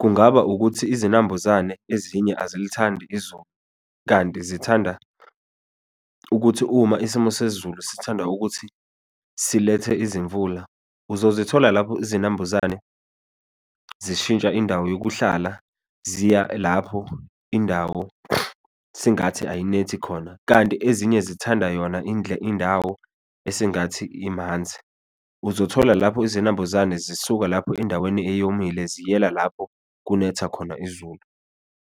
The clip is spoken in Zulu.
kungaba ukuthi izinambuzane ezinye azilithandi izulu. Kanti zithanda ukuthi uma isimo sezulu sithanda ukuthi silethe izimvula, uzozithola lapho izinambuzane zishintsha indawo yokuhlala, ziya lapho indawo sengathi ayinethi khona, kanti ezinye zithanda yona indawo esengathi imanzi. Uzothola lapho izinambuzane zisuka lapho endaweni eyomile ziyela lapho kunetha khona izulu.